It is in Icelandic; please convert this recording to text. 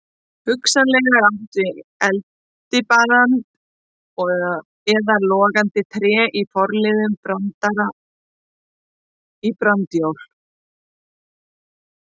Hugsanlega er átt við eldibrand eða logandi tré í forliðnum branda- í brandajól.